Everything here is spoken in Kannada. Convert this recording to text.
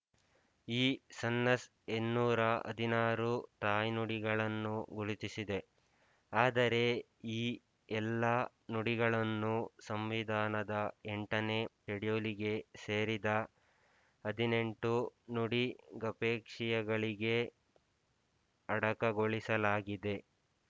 ಈ ಸೆನ್ಸಸ್ ಇನ್ನೂರ ಹದಿನಾರು ತಾಯ್ನುಡಿಗಳನ್ನು ಗುರುತಿಸಿದೆ ಆದರೆ ಈ ಎಲ್ಲ ನುಡಿಗಳನ್ನು ಸಂವಿಧಾನದ ಎಂಟನೇ ಶಡ್ಯೂಲಿಗೆ ಸೇರಿದ ಹದಿನೆಂಟು ನುಡಿ ಗಪೇಕ್ಷಿಳಗೆಯೇ ಅಡಕಗೊಳಿಸಲಾಗಿದೆ